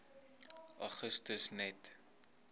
augustus net